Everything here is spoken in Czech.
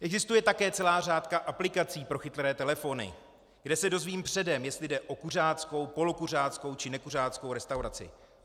Existuje také celá řada aplikací pro chytré telefony, kde se dozvím předem, jestli jde o kuřáckou, polokuřáckou či nekuřáckou restauraci.